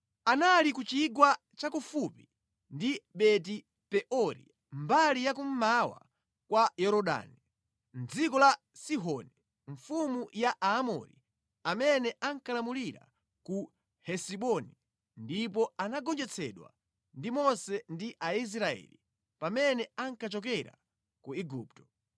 Anali ku chigwa cha kufupi ndi Beti-Peori mbali ya kummawa kwa Yorodani, mʼdziko la Sihoni mfumu ya Aamori amene ankalamulira ku Hesiboni ndipo anagonjetsedwa ndi Mose ndi Aisraeli pamene ankachokera ku Igupto.